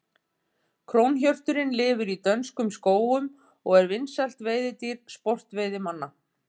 Krónhjörturinn lifir í dönskum skógum og er vinsælt veiðidýr sportveiðimanna.